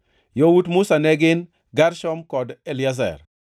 Yawuot Musa ne gin: Gershom kod Eliezer.